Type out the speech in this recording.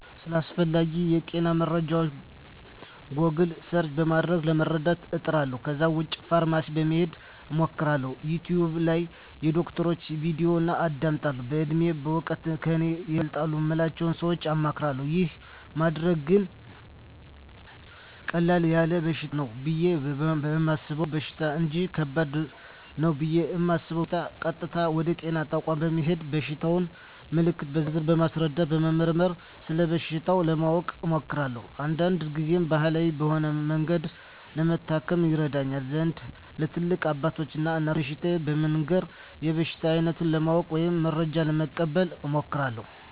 ስለ አስፈላጌ የጤና መረጃወች "ጎግል" ሰርች" በማድረግ ለመረዳት እጥራለሁ ከዛ ውጭ ፋርማሲ በመሄድ አማክራለሁ፣ "ዩቲውብ" ላይ የዶክተሮችን "ቪዲዮ" አዳምጣለሁ፣ በእድሜና በእውቀት ከኔ ይበልጣሉ ምላቸውን ሰወች አማክራለሁ። ይህን ማደርገው ግን ቀለል ያለ በሽታ ነው ብየ የማሰበውን በሽታ እንጅ ከባድ ነው ብየ እማስበውን በሸታ ቀጥታ ወደ ጤና ተቋም በመሄድ የበሽታየን ምልክቶች በዝርዝር በማስረዳትና በመመርመር ስለበሽታው ለማወቅ እሞክራለሁ። አንዳንድ ግዜም ባህላዊ በሆነ መንገድ ለመታከም ይረዳኝ ዘንድ ለትላልቅ አባቶች እና እናቶች በሽታየን በመንገር የበሽታውን አይነት ለማወቅ ወይም መረጃ ለመቀበል እሞክራለሁ።